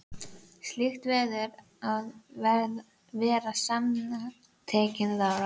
Slíkt verður að vera samantekin ráð.